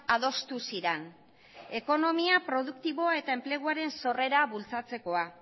adostu ziren ekonomikoa produktiboa eta enpleguaren sorrera bultzatzekoa